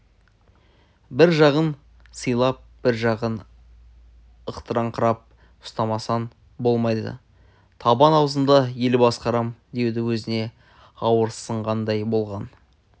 бір жағын сыйлап бір жағын ықтырыңқырап ұстамасаң болмайды табан аузында ел басқарам деуді өзіне ауырсынғандай болған